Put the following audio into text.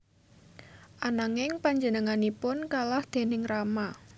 Ananging panjenenganipun kalah déning Rama